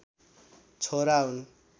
छोरा हुन्